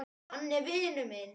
Hann er vinur minn